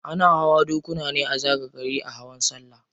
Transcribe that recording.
Ana hawa dokuna ne a zagaye gari a hawan sallah.